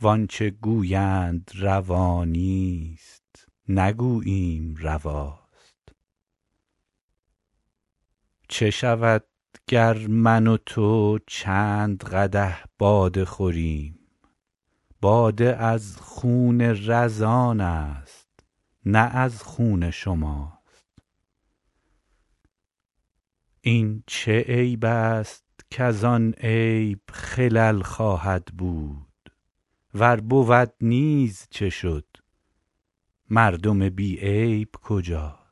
وان چه گویند روا نیست نگوییم رواست چه شود گر من و تو چند قدح باده خوریم باده از خون رزان است نه از خون شماست این چه عیب است کز آن عیب خلل خواهد بود ور بود نیز چه شد مردم بی عیب کجاست